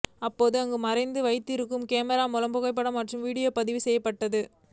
அப்போது அங்கு மறைத்து வைத்திருக்கும் கேமரா மூலம் புகைப்படம் மற்றும் வீடியோ பதிவு செய்யப்படும்